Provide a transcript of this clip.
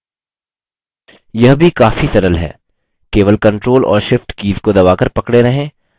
यह भी काफी सरल है! केवल control और shift कीज़ को दबाकर पकड़े रहें